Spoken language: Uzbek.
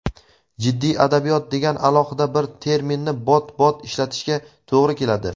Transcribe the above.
"jiddiy adabiyot" degan alohida bir terminni bot-bot ishlatishga to‘g‘ri keladi.